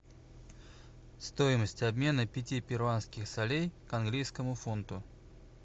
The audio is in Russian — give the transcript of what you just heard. стоимость обмена пяти перуанских солей к английскому фунту